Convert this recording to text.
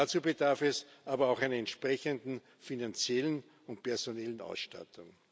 Dazu bedarf es aber auch einer entsprechenden finanziellen und personellen Ausstattung.